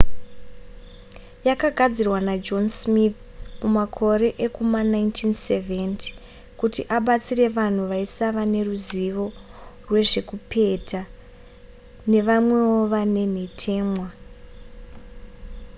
yakagadzirwa najohn smith mumakore ekuma1970 kuti abatsire vanhu vaisava neruzivo rwezvekupeta nevamwewo vane nhetemwa